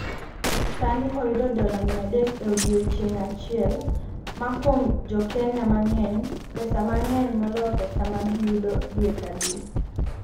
sani oyudo dola 300 e odiechieng’ achiel, ma kuom Jo-Kenya mang’eny, pesa ma ng’eny moloyo pesa ma giyudo dwe ka dwe.